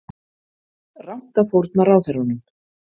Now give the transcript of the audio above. Rangt að fórna ráðherrunum